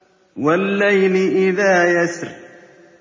وَاللَّيْلِ إِذَا يَسْرِ